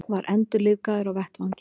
Var endurlífgaður á vettvangi